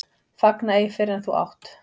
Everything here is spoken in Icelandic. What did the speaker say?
Fagna ei fyrr en þú átt.